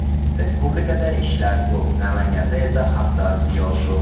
Respublikada ishlar ko‘p, Namanganda esa haddan ziyod ko‘p.